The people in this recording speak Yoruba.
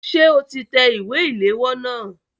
Ṣé o ti tẹ ìwé ìléwọ́ náà?